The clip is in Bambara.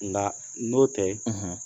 Nka n'o tɛ